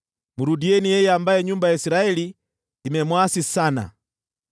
Mrudieni yeye ambaye nyumba ya Israeli imemwasi sana.